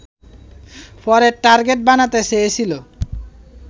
পরে টার্গেট বানাতে চেয়েছিল